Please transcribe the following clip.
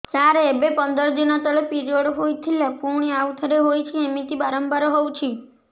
ସାର ଏବେ ପନ୍ଦର ଦିନ ତଳେ ପିରିଅଡ଼ ହୋଇଥିଲା ପୁଣି ଆଉଥରେ ହୋଇଛି ଏମିତି ବାରମ୍ବାର ହଉଛି